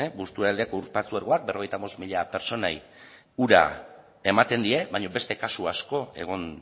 busturialdeako ur patzuergoak berrogeita bost mila pertsonei ura ematen die baina beste kasu asko egon